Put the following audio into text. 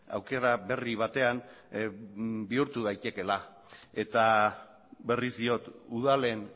aukera berri batean bihurtu daitekeela eta berriz diot udalen